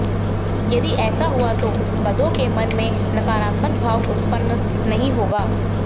यदि ऐसा हुआ तो बधाों के मन में नकारात्मक भाव उत्पन्ना नहीं होगा